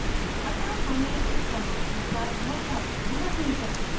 अतः हमें इस command के साथ बहुत सावधानी रखनी चाहिए